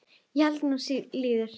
Ég held nú slíður!